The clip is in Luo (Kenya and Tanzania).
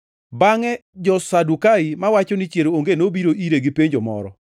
Bangʼe jo-Sadukai mawacho ni chier onge nobiro ire gi penjo moro.